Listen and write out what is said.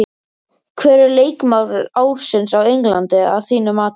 Hver er leikmaður ársins á Englandi að þínu mati?